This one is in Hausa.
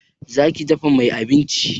Za ki dafa mai abinci?